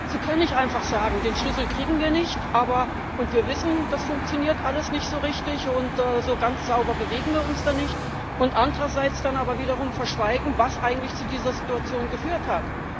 Sie können nicht einfach sagen Den Schlüssel kriegen wir nicht, und wir wissen, das funktioniert alles nicht so richtig, und so ganz sauber bewegen wir uns da nicht, andererseits dann aber wiederum verschweigen, was eigentlich zu dieser Situation geführt hat.